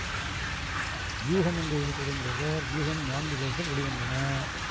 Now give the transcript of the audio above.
வியூகம் என்ற இதழை தொடங்கியவர் வியூகம் நான்கு இதழ்கள் வெளி வந்தன